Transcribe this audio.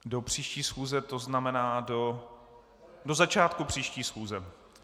Do příští schůze, to znamená do začátku příští schůze.